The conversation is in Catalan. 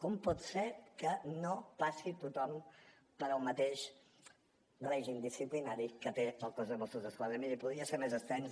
com pot ser que no passi tothom pel mateix règim disciplinari que té el cos de mossos d’esquadra i miri podria ser més extens